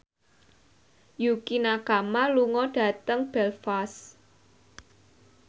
Yukie Nakama lunga dhateng Belfast